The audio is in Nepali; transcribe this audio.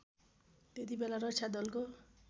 त्यतिबेला रक्षा दलको